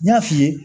N y'a f'i ye